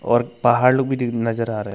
और पहाड़ लोग भी दी नजर आ रहा है।